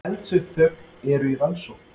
Eldsupptök eru í rannsókn